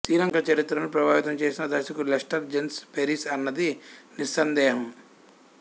శ్రీలంక చరిత్రను ప్రభావితం చేసిన దర్శకుడు లెస్టర్ జేంస్ పెరిస్ అన్నది నిస్సందేహం